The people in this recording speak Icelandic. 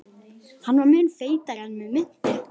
Hann var mun feitari en mig minnti.